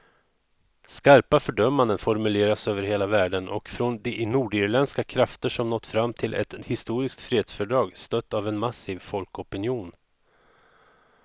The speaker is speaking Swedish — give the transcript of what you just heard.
Skarpa fördömanden formuleras över hela världen och från de nordirländska krafter som nått fram till ett historiskt fredsfördrag, stött av en massiv folkopinion.